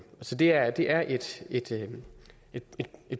så det er det er et et